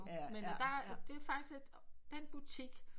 men der det er faktisk den butik